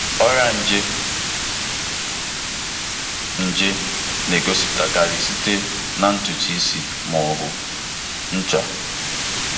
Ọrịa nje nje na-egosipụtakarị site na ntutu isi ma ọ bụ ncha.